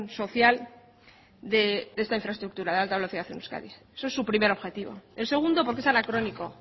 social de esta infraestructura de alta velocidad en euskadi eso es su primer objetivo el segundo porque es anacrónico